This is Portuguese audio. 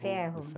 Ferro.